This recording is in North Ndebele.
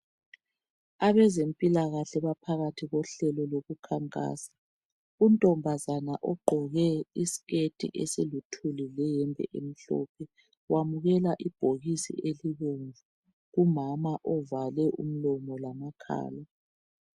Abezempilakahle baphakathi kohlelo lokukhankasa, untombazana ogqoke isiketi esiluthuli leyembe emhlophe wamukela ibhokisi elibomvu kumama ovale umlomo lamakhala.